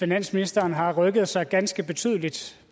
finansministeren har rykket sig ganske betydeligt